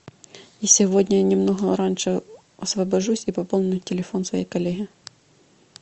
я сегодня немного раньше освобожусь и пополню телефон своей коллеге